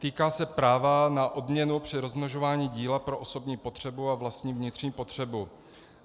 Týká se práva na odměnu při rozmnožování díla pro osobní potřebu a vlastní vnitřní potřebu.